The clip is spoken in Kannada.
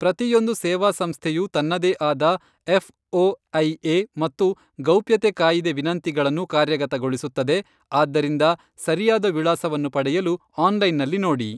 ಪ್ರತಿಯೊಂದು ಸೇವಾಸಂಸ್ಥೆಯು ತನ್ನದೇ ಆದ ಎಫ್ಓಐಎ ಮತ್ತು ಗೌಪ್ಯತೆ ಕಾಯಿದೆ ವಿನಂತಿಗಳನ್ನು ಕಾರ್ಯಗತಗೊಳಿಸುತ್ತದೆ, ಆದ್ದರಿಂದ ಸರಿಯಾದ ವಿಳಾಸವನ್ನು ಪಡೆಯಲು ಆನ್ಲೈನ್ನಲ್ಲಿ ನೋಡಿ.